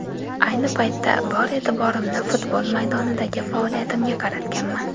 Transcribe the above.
Ayni paytda bor e’tiborimni futbol maydonidagi faoliyatimga qaratganman.